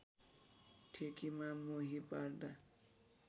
ठेकीमा मोही पार्दा